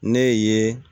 Ne ye